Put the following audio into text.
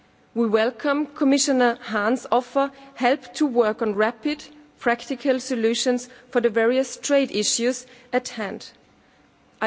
We welcome Commissioner Hahn's offer of help to work on rapid practical solutions to the various trade issues at hand.